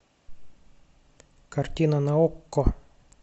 картина на окко